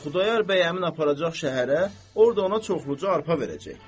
Xudayar bəy həmin aparacaq şəhərə, orda ona çoxlu arpa verəcək.